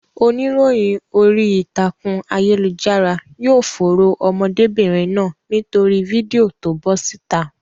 Oníròyìn orí ìtàkùn ayélujára yóò fòòró ọmọdébìnrin náà nítorí fídíò to bọ́ síta.